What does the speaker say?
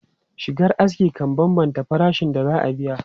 Shigar aski kan bambanta farashin da za a biya.